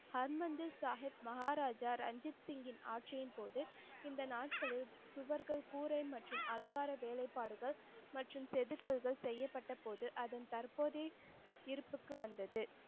ஹர்மந்திர் சாஹிப் மகாராஜா ரஞ்சித் சிங்கின் ஆட்சியின் போது இந்த நாட்களில் சுவர்கள் கூரை மற்றும் அலங்கார வேலைப்பாடுகள் மற்றும் செதுக்கல்கள் செய்யப்பட்டபோது அதன் தற்போதைய இருப்புக்கு வந்தது.